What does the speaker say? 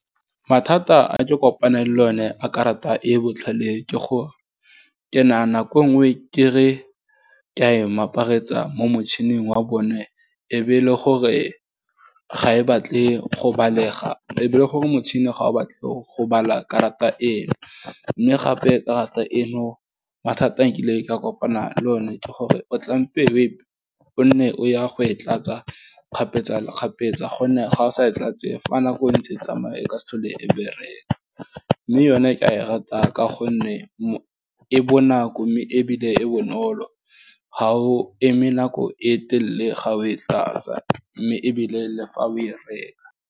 Mathata a ke kopaneng le one a karata e botlhale, ke gore, ke na nako nngwe kere ke a e maparetsa mo motšhining wa bone, ebe e le gore motšhini ga o batla go bala karata eno, mme gape karata eno mathata a nkile ka kopana le one, ke gore, o tlampe we o nne o ya go e tlatsa kgapetsakgapetsa, gonne ga o sa e tlatse fa nako e ntse e tsamaya ka se tlhole e bereka, mme yone a e rata ka gonne e bonako, mme ebile e bonolo ga o eme nako e telele ga o e tlatsa, mme ebile le fa o e reka.